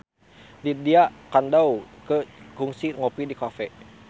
Lydia Kandou kungsi ngopi di cafe